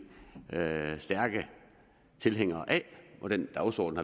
stærke tilhængere af og den dagsorden